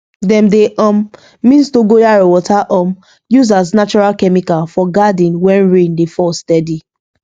dem dey um mix dogoyaro water um use as natural chemical for garden when rain dey fall steady